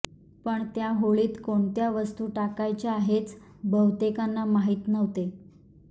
पण त्या होळीत कोणत्या वस्तू टाकायच्या हेच बहुतेकांना माहीत नव्हते